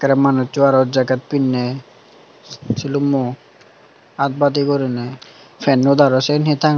tey aro manusso aro jaket pinnay silumo art badi guri nay pennot aro seyan he tanga.